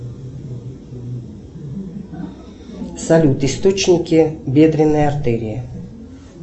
салют источники бедренной артерии